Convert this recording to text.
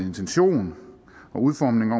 intention og udformning og